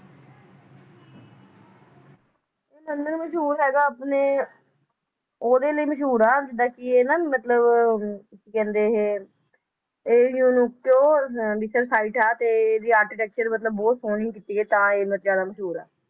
ਮੰਦਿਰ ਮਸ਼ਹੂਰ ਹੈਗਾ ਆਪਣੇ ਓਹਦੇ ਲਈ ਮਸ਼ਹੂਰ ਆ ਜਿਦਾਂ ਕਿ ਇਹ ਨ ਮਤਲਬ, ਕਹਿੰਦੇ ਇਹ ਇਹ ਆ ਤੇ ਵੀ architecture ਮਤਲਬ ਬਹੁਤ ਸੋਹਣੀ ਕੀਤੀ ਹੈ ਤਾਂ ਹੀ ਇਹ ਬਹੁਤ ਜ਼ਿਆਦਾ ਮਸ਼ਹੂਰ ਆ